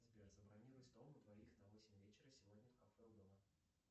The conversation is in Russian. сбер забронируй стол на двоих на восемь вечера сегодня в кафе у дома